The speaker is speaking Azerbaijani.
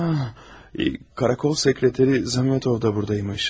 Karakol sekreteri Zametov da burdaymış.